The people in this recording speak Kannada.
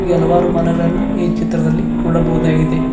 ಕೆಲವಾರು ಮರಗಳನ್ನ ಈ ಚಿತ್ರದಲ್ಲಿ ನೋಡಬಹುದಾಗಿದೆ.